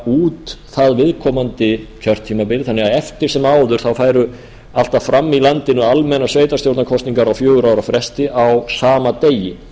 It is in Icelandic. út það viðkomandi kjörtímabil þannig að eftir sem áður færu alltaf fram í landinu almennar sveitarstjórnarkosningar á fjögurra ára fresti á sama degi